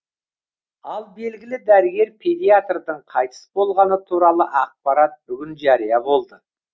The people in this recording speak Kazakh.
ал белгілі дәрігер педиатрдың қайтыс болғаны туралы ақпарат бүгін жария болды